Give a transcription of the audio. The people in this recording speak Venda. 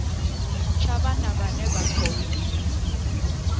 tsha vhana vhane vha khou